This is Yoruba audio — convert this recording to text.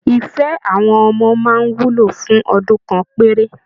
Ife àwọn ọmọ máa ń wúlò fún ọdún kan péré